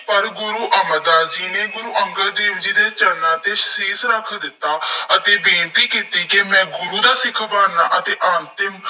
ਪਰ ਗੁਰੂ ਅਮਰਦਾਸ ਜੀ ਨੇ, ਗੁਰੂ ਅੰਗਦ ਦੇਵ ਜੀ ਦੇ ਚਰਨਾਂ ਤੇ ਸ਼ੀਸ਼ ਰੱਖ ਦਿੱਤਾ ਅਤੇ ਬੇਨਤੀ ਕੀਤੀ ਕਿ ਮੈਂ ਗੁਰੂ ਦਾ ਸਿੱਖ ਬਣਨਾ ਅਤੇ ਅੰਤਿਮ